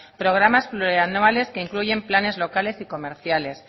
programas plurianuales que incluyen planes locales y comerciales